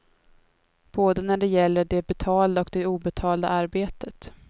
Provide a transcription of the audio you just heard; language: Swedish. Både när det gäller det betalda och det obetalda arbetet.